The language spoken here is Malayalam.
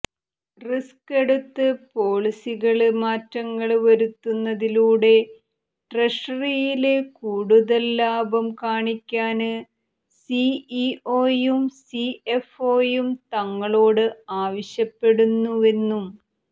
റിസ്ക് എടുത്ത് പോളിസികളില് മാറ്റങ്ങള് വരുത്തുന്നതിലൂടെ ട്രഷറിയില് കൂടുതല് ലാഭം കാണിക്കാന് സിഇഒയും സിഎഫ്ഒയും തങ്ങളോട് ആവശ്യപ്പെടുന്നുവെന്നും